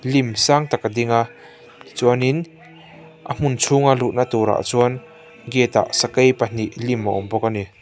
hnim sang tak a dinga chuanin a hmun chhunga luhna tur ah chuan gate ah sakei pahnih lim a awm bawk a ni.